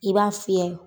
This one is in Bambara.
I b'a fiyɛ